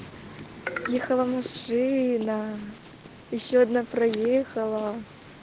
ехала машина ещё одна проехала